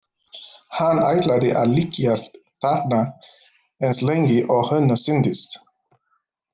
Hann ætlaði að liggja þarna eins lengi og honum sýndist.